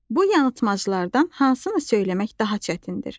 Bu yanılmaclardan hansını söyləmək daha çətindir?